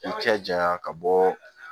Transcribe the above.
I cɛ janya ka bɔ